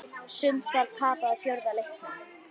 Sundsvall tapaði fjórða leiknum